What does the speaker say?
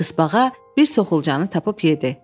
Tısbağa bir soxulcanı tapıb yedi.